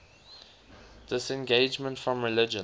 disengagement from religion